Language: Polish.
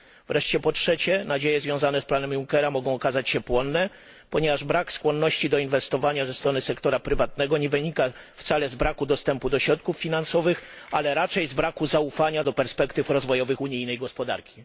Wreszcie po trzecie, nadzieje związane z planem Junckera mogą okazać się płonne, ponieważ brak skłonności do inwestowania ze strony sektora prywatnego nie wynika wcale z braku dostępu do środków finansowych, ale raczej z braku zaufania do perspektyw rozwojowych unijnej gospodarki.